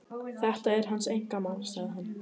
Þetta er hans einkamál, sagði hann.